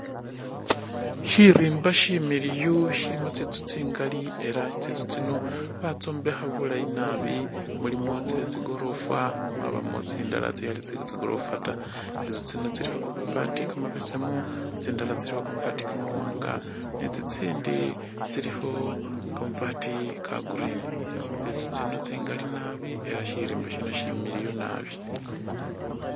Shirimba shimiliyu shilimo tsintsu tsingali ela tsintsu tsino batsombekha bulayi naabi mulimo tsetsigorofa mwabamo tsindala tsikhali tse tsigorofa ta tsintsu tsino tsilikho kamabaati kamabesemu tsindala tsiliko kamabaati kamawanga ne tsitsindi tsilikho kamabaat ka'green tsintsu tsino tsingali naabi ela shirimba shino shimiliyu naabi.